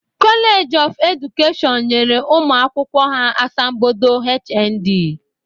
College of Education nyere ụmụ akwụkwọ ha asambodo HND